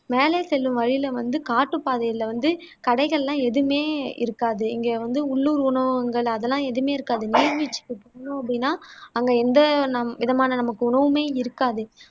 மேலே செல்லும் வழியில வந்து காட்டுப்பாதையில வந்து கடைகள் எல்லாம் எதுவுமே இருக்காது இங்க வந்து உள்ளூர் உணவகங்கள் அதெல்லாம் எதுவுமே இருக்காது நீர்வீழ்ச்சிக்கு போனோம் அப்படின்னா அங்க எந்த ந விதமான நமக்கு உணவுமே இருக்காது